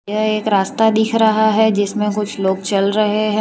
यह एक रास्ता दिख रहा है जिसमें कुछ लोग चल रहे हैं।